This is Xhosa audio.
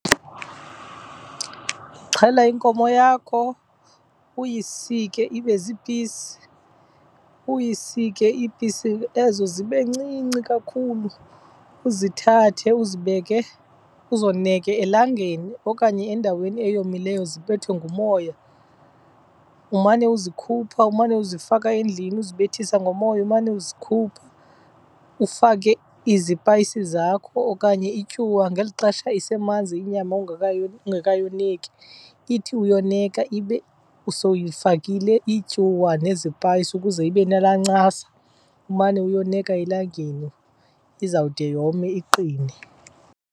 Uxhela inkomo yakho uyisike ibe ziipisi, uyisike iipisi ezo zibe ncinci kakhulu, uzithathe uzibeke uzoneke elangeni okanye endaweni eyomileyo zibethwe ngumoya. Umane uzikhupha, umane uzifaka endlini uzibethisa ngomoya, umane uzikhupha. Ufake izipayisi zakho okanye ityuwa ngeli xesha isemanzi inyama ungekayoneki, ithi uyoneka ibe sowuyifakile ityuwa nezipayisi ukuze ibe nalaa ncasa. Umane uyoneka elangeni izawude yome iqine.